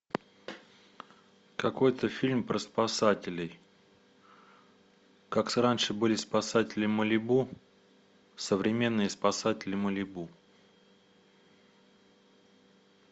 какой то фильм про спасателей как раньше были спасатели малибу современные спасатели малибу